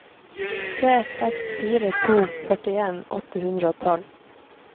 tre seks fire to førtien åtte hundre og tolv